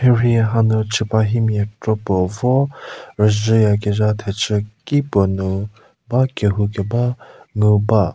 mhierhie hanu chüpahimia kropo vo rüzhüya kezha thechü ki puo nu ba kehou keba ngu ba.